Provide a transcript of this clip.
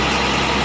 Quraşdırılıb.